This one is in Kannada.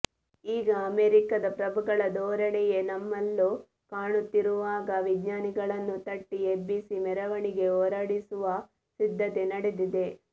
ಈಗ ಅಮೆರಿಕದ ಪ್ರಭುಗಳ ಧೋರಣೆಯೇ ನಮ್ಮಲ್ಲೂ ಕಾಣುತ್ತಿರುವಾಗ ವಿಜ್ಞಾನಿಗಳನ್ನು ತಟ್ಟಿ ಎಬ್ಬಿಸಿ ಮೆರವಣಿಗೆ ಹೊರಡಿಸುವ ಸಿದ್ಧತೆ ನಡೆದಿದೆ